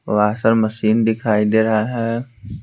Washer machine दिखाई दे रहा है।